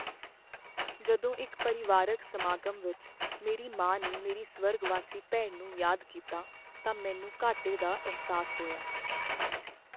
ਜਦੋਂ ਇੱਕ ਪਰਿਵਾਰਕ ਸਮਾਗਮ ਵਿੱਚ ਮੇਰੀ ਮਾਂ ਨੇ ਮੇਰੀ ਸਵਰਗਵਾਸੀ ਭੈਣ ਨੂੰ ਯਾਦ ਕੀਤਾ ਤਾਂ ਮੈਨੂੰ ਘਾਟੇ ਦਾ ਅਹਿਸਾਸ ਹੋਇਆ।